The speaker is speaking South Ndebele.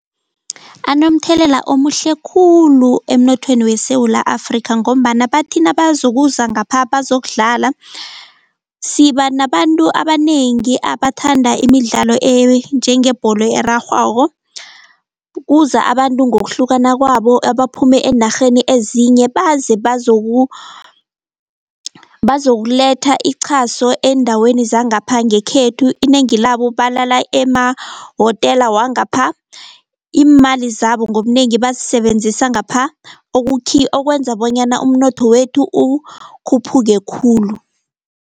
Anomthelela omuhle khulu emnothweni weSewula Afrika, ngombana bathi nabazokuza ngapha bazokudlala siba nabantu abanengi abathanda imidlalo enjengebholo erarhwako. Kuza abantu ngokuhlukana kwabo abaphuma eenarheni ezinye baze bazokuletha ichaso eendaweni zangapha ngekhethu, inengi labo balala emahotela wangapha, iimali zabo ngobunengi bazisebenzisa ngapha okwenza bonyana umnotho wethu ukhuphuke khulu.